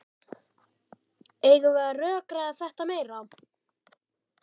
Eigum við að rökræða þetta meira?